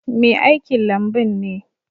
Mai aikin lambun ne.